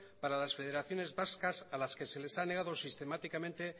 para las federaciones vascas a las que se les ha negado sistemáticamente